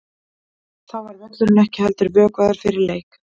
Þá var völlurinn ekki heldur vökvaður fyrir leik.